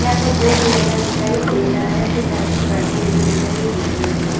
यहाँ पर बोर्ड लगा दिखाई दे रहा है कुछ आदमी बैठे हुए दिखाई दे रहे हैं।